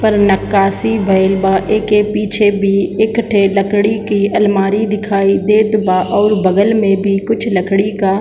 पर निकासी भईल बा एके पीछे भी एक ठेला एक लकड़ी की अलमारी दिखाई देत बा और बगल में भी कुछ लकड़ी का --